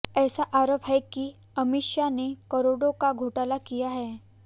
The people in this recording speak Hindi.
ऐसा आरोप है कि अमीषा ने करोड़ों का घोटाला किया है